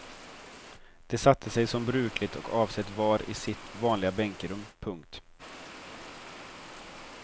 De satte sig som brukligt och avsett var i sitt vanliga bänkerum. punkt